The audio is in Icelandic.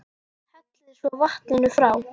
Hellið svo vatninu frá.